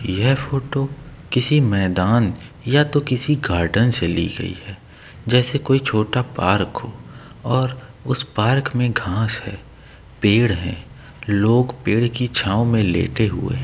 यह फोटो किसी मैदान या गार्डन से ली गई है जैसे कोई छोटा पार्क हो और उसे पार्क में घास है पेड़ है लोग पेड की छांव में लेटे हुए हैं।